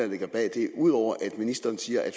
ligger bag det ud over at ministeren siger at